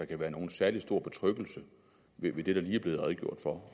kan være nogen særlig stor betryggelse ved det der lige er blevet redegjort for